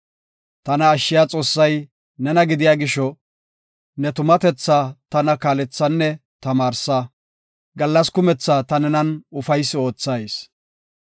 Tana ashshiya Xoossay nena gidiya gisho, ne tumatethaa tana kaalethanne tamaarsa; gallas kumetha ta nenan ufaysi oothayis.